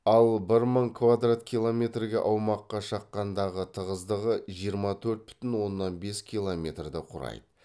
ал бір мың квадрат километрге аумаққа шаққандағы тығыздығы жиырма төрт бүтін оннан бес километрді құрайды